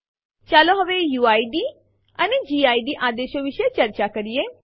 ચાલો હવે યુઆઇડી અને ગિડ આદેશો વિશે ચર્ચા કરીએ